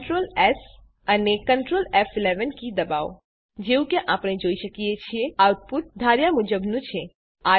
Ctrl S અને Ctrl ફ11 key દબાવો જેવું કે આપણે જોઈ શકીએ છીએ આઉટપુટ ધાર્યા મુજબનું છે